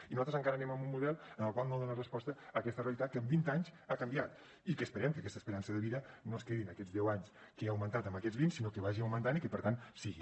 i nosaltres encara anem amb un model el qual no dona resposta a aquesta realitat que en vint anys ha canviat i que esperem que aquesta esperança de vida no es quedi en aquests deu anys que ha augmentat en aquests vint sinó que vagi augmentant i que per tant sigui